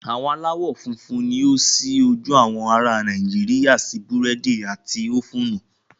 Àwọn aláwọ̀ funfun ni ó ṣí ojú àwọn ará Nàìjíríà sí búrẹ́dì àti ófúnù.